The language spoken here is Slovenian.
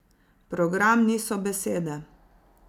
Program niso besede.